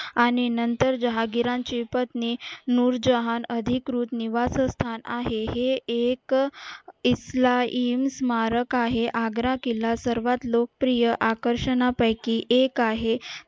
आणि नंतर जहागिरांची पत्नी नूर जहान अधिकृत निवासस्थान आहे आणि हे एक इस्लाम स्मारक आहे आग्रा किल्ला सर्वात लोकप्रिय आकर्षणापैकी एक आहे